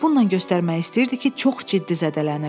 Bununla göstərmək istəyirdi ki, çox ciddi zədələnib.